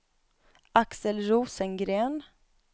Axel Rosengren